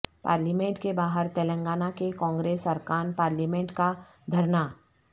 parliament کے باہر تلنگانہ کے کانگریس ارکان پارلیمنٹ کا دھرنا